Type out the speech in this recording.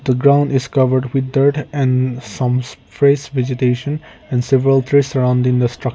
ground is covered with dirt and some face vegetation and several threads surround in the structu .